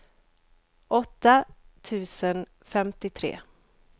åtta tusen femtiotre